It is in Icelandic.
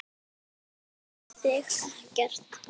Það tefur þig ekkert.